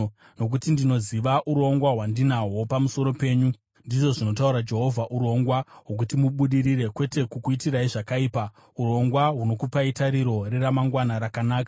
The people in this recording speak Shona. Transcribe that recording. Nokuti ndinoziva urongwa hwandinahwo pamusoro penyu,” ndizvo zvinotaura Jehovha, “urongwa hwokuti mubudirire, kwete kukuitirai zvakaipa, urongwa hunokupai tariro neramangwana rakanaka.